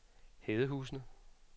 Hedehusene